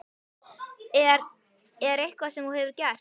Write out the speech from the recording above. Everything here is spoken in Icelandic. Er. er eitthvað sem þú hefur gert?